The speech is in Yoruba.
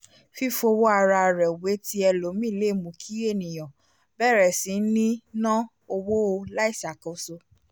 fífọwọ́ ara rẹ wé ti ẹlòmíì le mú kí ènìyàn bèrè sí ní ná owó láìṣàkóso